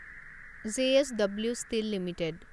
J S W steel limited